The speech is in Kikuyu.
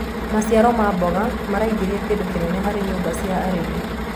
maciaro ma mboga maraingiria kĩndu kĩnene harĩ nyumba cia arĩmi